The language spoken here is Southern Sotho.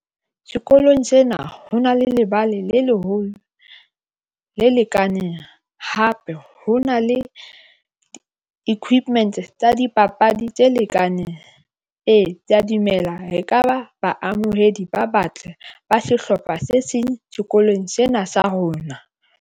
Sekolong sena ho na le lebale le leholo le lekaneng. Hape ho na le equipment tsa dipapadi tse lekaneng. Ee, ke ya dumela, ekaba baamohedi ba batle ba sehlopha se seng sekolong sena sa rona.